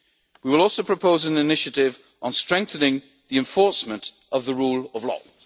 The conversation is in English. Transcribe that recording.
Union. We will also propose an initiative on strengthening the enforcement of the